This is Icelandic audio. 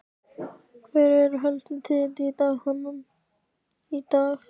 Hver eru helstu tíðindi þaðan í dag?